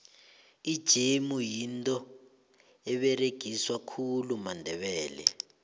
ijemu yinto eberegiswa khulu mandebele